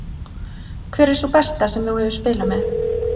Hver er sú besta sem þú hefur spilað með?